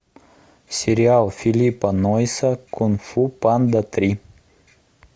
сериал филлипа нойса кунг фу панда три